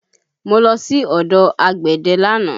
Mo lọ sí ọ̀dọ̀ àgbẹ̀dẹ lánàá